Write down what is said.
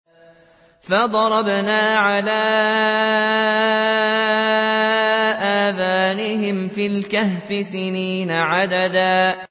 فَضَرَبْنَا عَلَىٰ آذَانِهِمْ فِي الْكَهْفِ سِنِينَ عَدَدًا